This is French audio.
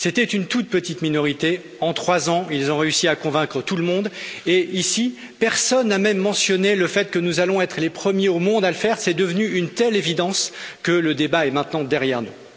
C'était une toute petite minorité et en trois ans, ils ont réussi à convaincre tout le monde et ici personne n'a même mentionné le fait que nous allons être les premiers au monde à le faire, c'est devenu une telle évidence que le débat est maintenant derrière nous.